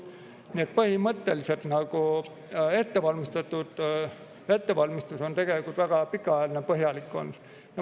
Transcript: Nii et põhimõtteliselt on ettevalmistus olnud väga pikaajaline ja põhjalik.